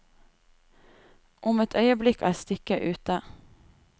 Om et øyeblikk er stykket ute.